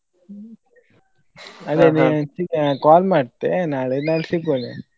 Call ಮಾಡ್ತೆ ನಾಳೆ ನಾಳೆ ಸಿಗುವ .